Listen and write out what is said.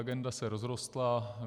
Agenda se rozrostla.